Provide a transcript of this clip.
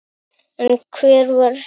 En hver var Jesús?